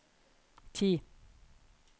ti